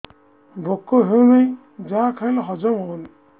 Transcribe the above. ଭୋକ ହେଉନାହିଁ ଯାହା ଖାଇଲେ ହଜମ ହଉନି